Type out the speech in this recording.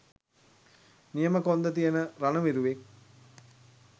නියම කොන්ද තියෙන රණ විරුවෙක්.